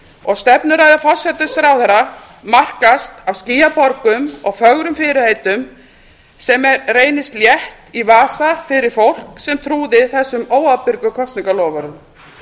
og stefnuræða forsætisráðherra markast af skýjaborgum og fögrum fyrirheitum sem reynast létt í vasa fyrir fólk sem trúði þessum óábyrgu kosningaloforðum